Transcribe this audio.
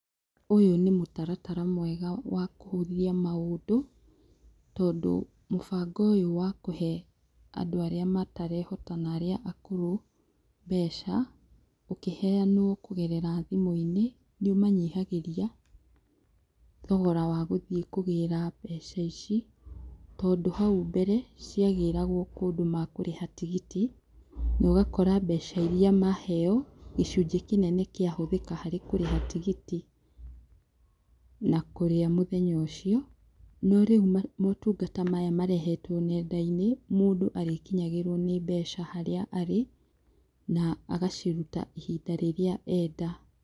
Ũyũ nĩ mũtaratara mwega wa kũhũthia maũndũ, tondũ mũbango ũyũ wa kũhe andũ arĩa matarehota na arĩa akũrũ, mbeca, ũkĩheanwo kũgerera thimũ-inĩ, nĩ ũmanyihagĩria thogora wa gũthiĩ kũgĩra mbeca ici, tondũ hau mbere, cia gĩragwo kũndũ makũrĩha tigiti, na ũgakora mbeca iria maheo, gĩcũnjĩ kĩnene kĩa hũthĩka harĩ kũrĩha tigiti na kũrĩa mũthenya ũcio. No rĩu maũtungata maya marehetwo nenda-inĩ, mũndũ arĩkinyagĩrwo nĩ mbeca harĩa arĩ, na agaciruta ihinda rĩrĩa enda.